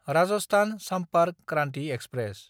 Rajasthan Sampark Kranti express